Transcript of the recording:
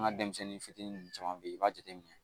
An ka denmisɛnnin fitinin nunnu caman be yen i b'a jateminɛ